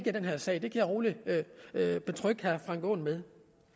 i den her sag det kan jeg betrygge herre frank aaen